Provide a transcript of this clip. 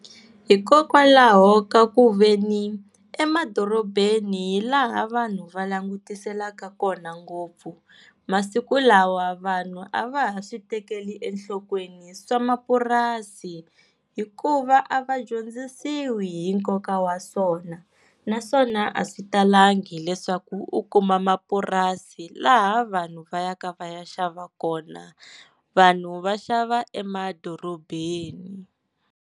Hikokwalaho ka ku veni emadorobeni hi laha vanhu va langutiselaka kona ngopfu. Masiku lawa vanhu a va ha swi tekeli enhlokweni swa mapurasi hikuva a va dyondzisiwi hi nkoka wa swona. Naswona a swi talangi leswaku u kuma mapurasi laha vanhu va ya ka va ya xava kona vanhu va xava emadorobeni.